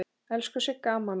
Elsku Sigga amma mín.